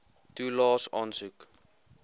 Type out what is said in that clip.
toelaes aansoek